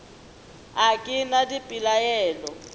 a ke na le dipelaelo